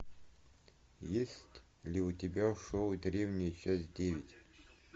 есть ли у тебя шоу древняя часть девять